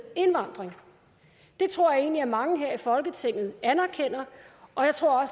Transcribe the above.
indvandring det tror jeg egentlig mange her i folketinget anerkender og jeg tror